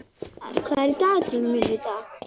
Böðvar, hvað er í dagatalinu mínu í dag?